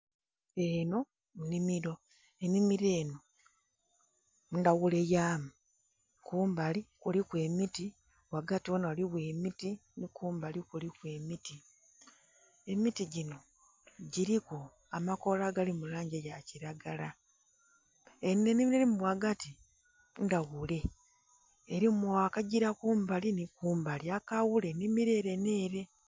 Enho nnhimilo, ennhimilo enho, ndhaghule yamu. Kumbali kuliku emiti, ghagati ghona ghaligho emiti, nhi kumbali kuliku emiti. Emiti ginho giliku amakoola agali mu langi eya kilagala. Enho ennhimilo elimu ghagati ndhaghule, elimu akagila kumbali nhi kumbali akaghula ennhimilo ele nh'ele.